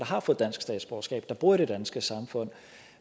har fået dansk statsborgerskab der bor i det danske samfund